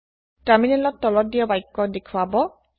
তাৰমিনেলত তলত দিয়া বাক্য দেখোৱাব